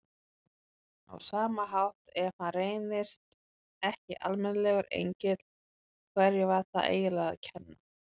Á sama hátt, ef hann reyndist ekki almennilegur engill, hverjum var það eiginlega að kenna?